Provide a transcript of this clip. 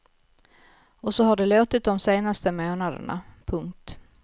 Och så har det låtit de senaste månaderna. punkt